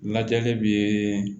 Lajɛli bɛ